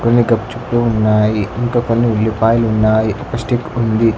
కొన్ని గప్ చుప్ లు ఉన్నాయి ఇంక కొన్ని ఉల్లిపాయలు ఉన్నాయి ఒక స్టిక్ ఉంది.